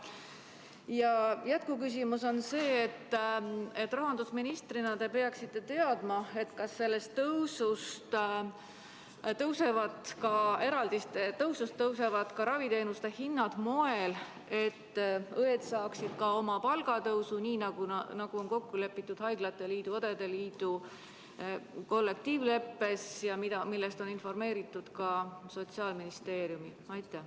Ja jätkuküsimus on selline, rahandusministrina te peaksite seda teadma: kas eraldiste kasvuga seoses tõusevad ka raviteenuste hinnad sellisel moel, et õed saaksid oma palgatõusu, milles on kokku lepitud Eesti Haiglate Liidu ja Eesti Õdede Liidu kollektiivleppes ning millest on informeeritud ka Sotsiaalministeeriumi?